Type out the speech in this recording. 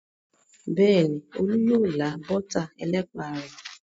Bẹ́ẹ̀ni, Olú yóò lá bọ́tà ẹlẹ́pà rẹ̀.